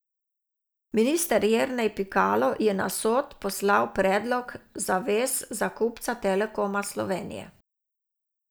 Minister Jernej Pikalo je na Sod poslal predlog zavez za kupca Telekoma Slovenije.